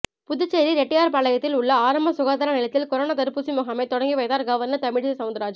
புதுச்சேரி ரெட்டியார்பாளையத்தில் உள்ள ஆரம்ப சுகாதார நிலையத்தில் கொரோனா தடுப்பூசி முகாமை தொடங்கி வைத்தார் கவர்னர் தமிழிசை சவுந்தரராஜன்